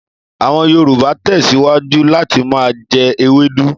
Àwọn Yòrùbà tẹ́síwájú láti ma jẹ́ ewédú.